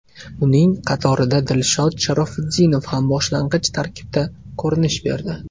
Uning qatorida Dilshod Sharofutdinov ham boshlang‘ich tarkibda ko‘rinish berdi.